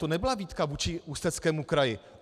To nebyla výtka vůči Ústeckému kraji.